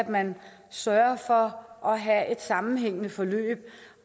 man sørger for at have et sammenhængende forløb